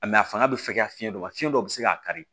a fanga bɛ fɛ ka fiɲɛ dɔ ma fiɲɛ dɔ bɛ se k'a kari